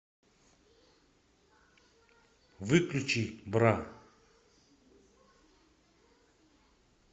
выключи бра